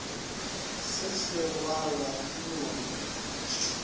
se sa rwalwa ke lori